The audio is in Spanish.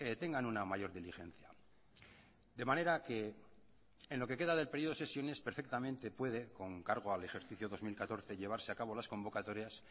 tengan una mayor diligencia de manera que en lo que queda del periodo de sesiones perfectamente puede con cargo al ejercicio dos mil catorce llevarse a cabo las convocatorias